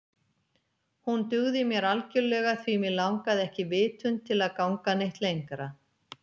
Hún dugði mér algjörlega því mig langaði ekki vitund til að ganga neitt lengra.